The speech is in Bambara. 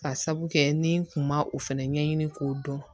Ka sabu kɛ ni n kun ma o fɛnɛ ɲɛɲini k'o dɔn